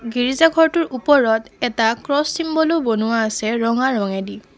গীৰ্জা ঘৰটোৰ ওপৰত এটা ক্ৰছ চিম্বলো বনোৱা আছে ৰঙা ৰঙেদি।